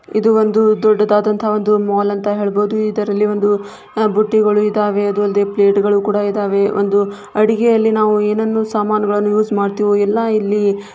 ಇದು ಒಂದು ದೊಡ್ಡದ ಒಂದು ಮಾಲ್ ಅಂತ ಹೇಳ್ಬಹುದು ಇದರಲ್ಲಿ ಒಂದು ಬುಟ್ಟಿಗಳು ಇದ್ದವೇ ಅದು ಅಲ್ಲದೆ ಪ್ಲೇಟುಗಳು ಇದ್ದವೇ ಒಂದು ಅಡುಗೆಯಲ್ಲಿ ನಾವು ಯನನ್ನು ಸಾಮಾನುಗಳನ್ನೂ ಯೂಸ್ ಮಾಡತ್ತೆವು ಎಲ್ಲ ಇಲ್ಲಿ--